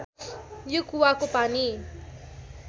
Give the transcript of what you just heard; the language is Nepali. यो कुवाको पानी